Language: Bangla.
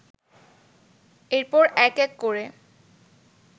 এরপর এক এক করে